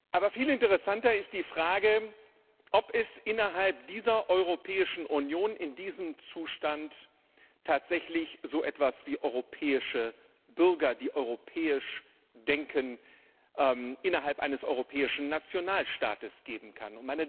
Aber viel interessanter ist die Frage, ob es innerhalb dieser Europäischen Union in diesem Zustand tatsächlich so etwas wie europäische Bürger die europäisch denken innerhalb eines europäischen Nationalstaates geben kann.